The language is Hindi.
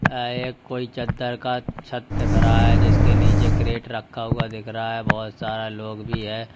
ऐ एक कोई चद्दर का छत दिख रहा है जिसके नीचे क्रेट रखा हुआ दिख रहा हैं बहुत सारा लोग भी है।